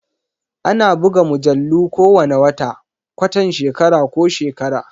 Ana buga mujallu kowane wata, kwatan shekara ko shekara.